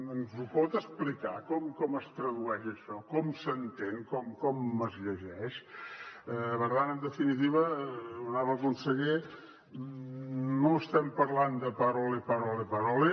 ens ho pot explicar com es tradueix això com s’entén com es llegeix per tant en definitiva honorable conseller no estem parlant de parole parole parole